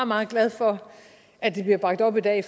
meget glad for at det bliver bragt op i dag